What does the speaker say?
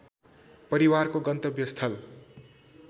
परिवारको गन्तव्यस्थल